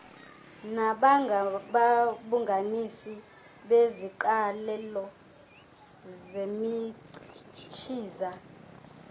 nabangababumbanisi beziqalelo zemichiza